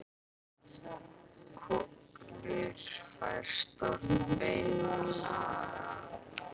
Kolur fær stórt bein að naga.